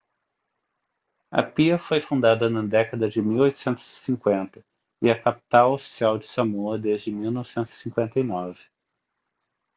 apia foi fundada na década de 1850 e é a capital oficial de samoa desde 1959